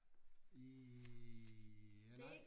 Ja nej